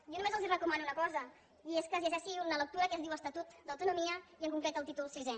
jo només els recomano una cosa i és que es llegeixi una lectura que es diu estatut d’autonomia i en concret el títol sisè